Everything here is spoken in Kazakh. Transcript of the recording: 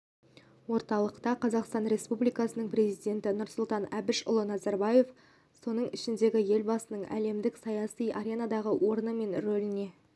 орталықта қазақстан республикасының президенті нұрсұлтан әбішұлы назарбаевтың соның ішінде елбасының әлемдік саяси аренадағы орны мен рөліне